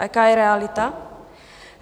A jaká je realita?